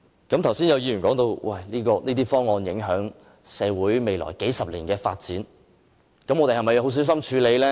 剛才有議員提到這些方案會影響社會未來數十年的發展，這樣我們是否需要很小心處理呢？